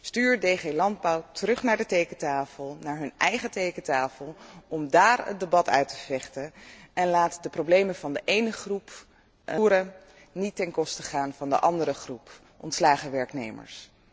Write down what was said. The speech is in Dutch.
Stuur DG Landbouw terug naar de tekentafel, naar zijn eigen tekentafel, om daar het debat uit te vechten en laat de problemen van de ene groep boeren niet ten koste gaan van de andere groep ontslagen werknemers.